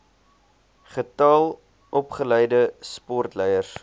getal opgeleide sportleiers